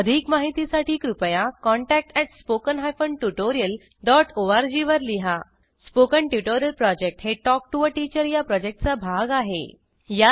अधिक माहितीसाठी कृपया contact at spoken hyphen tutorial dot O R G वर लिहा स्पोकन ट्युटोरियल प्रॉजेक्ट हे टॉक टू टीचर या प्रॉजेक्टचा भाग आहे